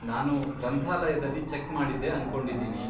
ನಾನು ಗ್ರಂಥಾಲಯ್ದಲ್ಲಿ ಚೆಕ್ ಮಾಡಿದ್ದೆ ಅನ್ಕೊಂಡಿದೀನಿ.